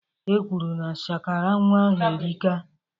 E kwuru na shakara nnwa ahụ erika